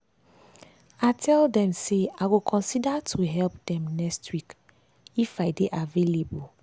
i tell dem say i go consider to help dem next week if i dey avaialble dey avaialble.